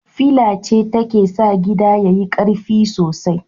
Fila ce take sa gida yayi karfi sosai